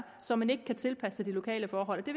som man ikke kan tilpasse de lokale forhold det